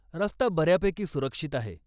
रस्ता बऱ्यापैकी सुरक्षित आहे.